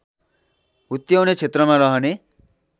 हुत्याउने क्षेत्रमा रहने